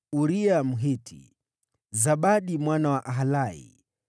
Uria Mhiti, Zabadi mwana wa Alai,